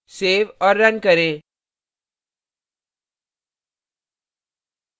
save और run करें